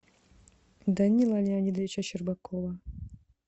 данила леонидовича щербакова